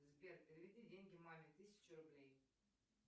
сбер переведи деньги маме тысячу рублей